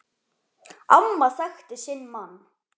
Amma þekkti sinn mann.